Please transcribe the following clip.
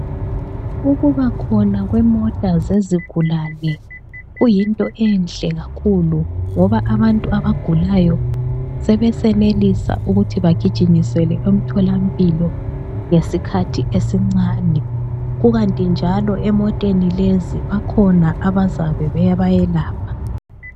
Ukubakhona kwemota zezigulane, kuyinto enhle kakhulu ngoba abantu abagulayo sebesenelisa ukuthi bagijinyiselwe emtholampilo ngesikhathi esincane. Kukanti njalo emoteni lezi bakhona abazabe bebayelapha.